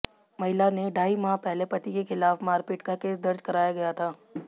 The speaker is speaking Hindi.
महिला ने ढाई माह पहले पति के खिलाफ मारपीट का केस दर्ज कराया गया था